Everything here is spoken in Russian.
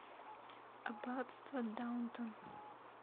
аббатство даунтон